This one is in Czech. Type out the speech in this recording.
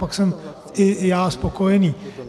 Pak jsem i já spokojený.